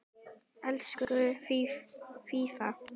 Elsku Fía.